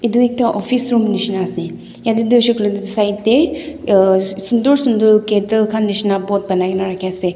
etu ekta office nishena ase yate tu hoishe koile toh side te sunder sunder kettle khan nishena pot banaikena rakhi ase.